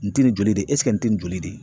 Nin ti nin joli de ye nin tɛ nin joli de ye ?